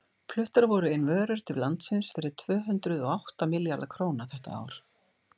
fluttar voru inn vörur til landsins fyrir tvö hundruð og átta milljarða króna þetta ár